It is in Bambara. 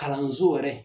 Kalanso yɛrɛ